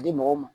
A di mɔgɔw ma